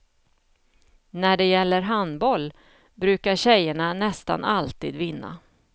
När det gäller handboll brukar tjejerna nästan alltid vinna.